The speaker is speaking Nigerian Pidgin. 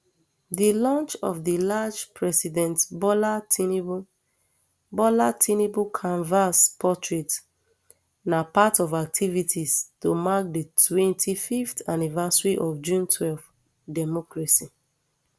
di launch of di large president bola tinubu bola tinubu canvas portrait na part of activities to mark di twenty-fiveth anniversary of june twelve democracy